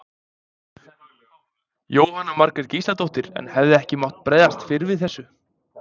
Jóhanna Margrét Gísladóttir: En hefði ekki mátt bregðast fyrr við þessu?